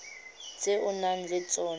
tse o nang le tsona